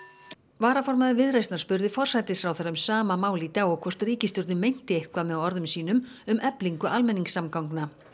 varaformaður Viðreisnar spurði forsætisráðherra um sama mál í dag og hvort ríkisstjórnin meinti eitthvað með orðum sínum um eflingu almenningssamgangna